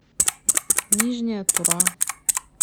нижняя тура